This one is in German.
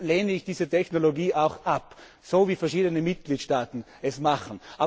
Darum lehne ich diese Technologie ab, so wie verschiedene Mitgliedstaaten es machen.